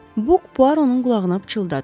Buk Puaronun qulağına pıçıldadı.